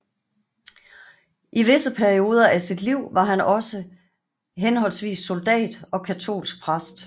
I visse perioder af sit liv var han også henholdsvis soldat og katolsk præst